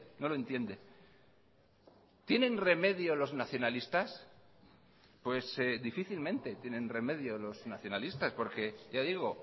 no lo entiende tienen remedio los nacionalistas pues difícilmente tienen remedio los nacionalistas por que ya digo